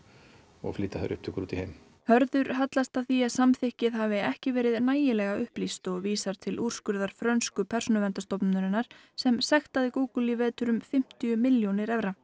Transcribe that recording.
og flutt út í heim Hörður hallast að því að samþykkið hafi ekki verið nægilega upplýst og vísar til úrskurðar frönsku persónuverndarstofnunarinnar sem sektaði Google í vetur um fimmtíu milljónir evra